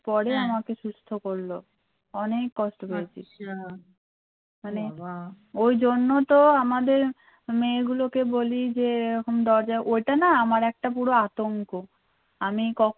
ঐ জন্য তো আমাদের মেয়েগুলোকে বলি যে ও রকম দরজার ঐটা না আমার একটা পুরো আতঙ্ক আমি কক্ষনো